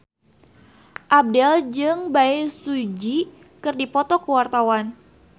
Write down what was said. Abdel jeung Bae Su Ji keur dipoto ku wartawan